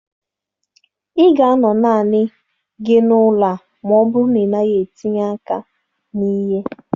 Ị ga-anọ naanị gị n'ụlọ a ma ọ bụrụ na ị naghị etinye aka na ihe.